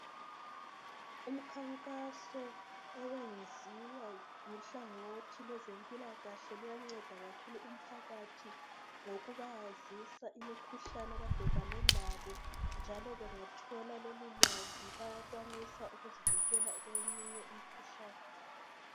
Umkhankaso oyenziwa luhlangothi lwezempilakahle luyanceda kakhulu umphakathi ngokubazisa imikhuhlane abakhangelane layo njalo bengathola lolu lwazi bayakwanisa ukuzivikela kweyinye imikhuhlane.